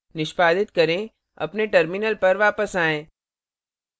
निष्पादित करें अपने टर्मिनल पर वापस आएँ